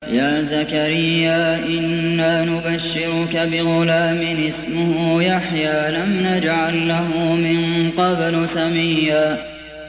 يَا زَكَرِيَّا إِنَّا نُبَشِّرُكَ بِغُلَامٍ اسْمُهُ يَحْيَىٰ لَمْ نَجْعَل لَّهُ مِن قَبْلُ سَمِيًّا